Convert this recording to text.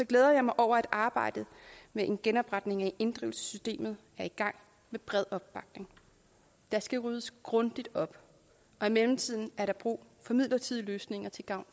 glæder jeg mig over at arbejdet med en genopretning af inddrivelsessystemet er i gang med bred opbakning der skal ryddes grundigt op og i mellemtiden er der brug for midlertidige løsninger til gavn